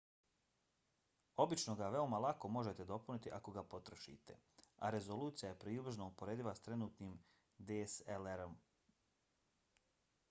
obično ga veoma lako možete dopuniti ako ga potrošite a rezolucija je približno uporediva s trenutnim dslr-om